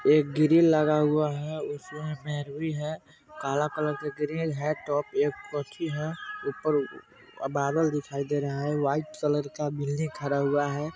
एक ग्रिल लगा हुआ है उसमें रूही है काला कलर का ग्रिल है एक पक्षी है ऊपर बादल दिखाई दे रहा है वाईट कलर का बिल्डिंग खड़ा हुआ है।